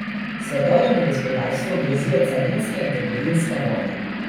Svetovnemu gospodarstvu grozijo carinske in trgovinske vojne.